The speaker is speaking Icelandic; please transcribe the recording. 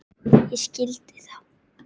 Ég skildi þá.